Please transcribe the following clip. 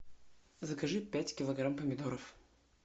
закажи пять килограмм помидоров